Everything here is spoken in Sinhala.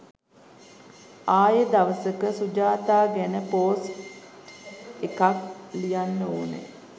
ආයේ දවසක සුජාතා ගැන පෝස්ට් එකක් ලියන්න ඕන